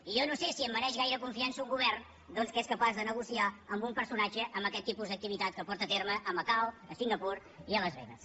i jo no sé si em mereix gaire confiança un govern doncs que és capaç de negociar amb un personatge amb aquest tipus d’activitat que porta a terme a macau a singapur i a las vegas